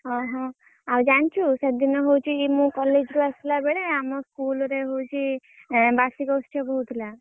ଓହୋ! ଆଉ ଜାଣିଛୁ ସେଦିନ ହଉଛି ମୁଁ college ରୁ ଆସିଲେ ବେଳେ ଆମ school ରେ ହଉଛି ଏ ବାର୍ଷିକ ଉତ୍ସବ ହଉଥିଲା।